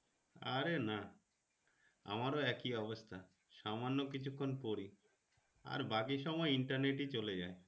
আরে না আমারও একই অবস্থা সামান্য কিচুক্ষণ পড়ি আর বাকি সময় Internet এ চলে যায়।